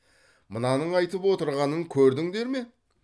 мынаның айтып отырғанын көрдіңдер ме